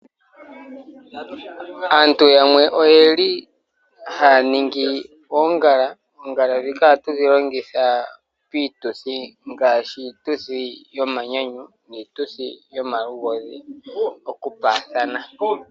Aantu yamwe oyeli haningi ongala , oongala dhika oha tu dhilongitha pituthi ngashi iituthi yomanyanyu niituthi yomaluhodhi oku pathana.